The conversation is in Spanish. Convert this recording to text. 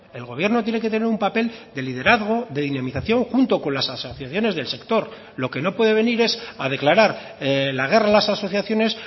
el gobierno tiene que tener un papel de liderazgo de dinamización junto con las asociaciones del sector lo que no puede venir es a declarar la guerra a las asociaciones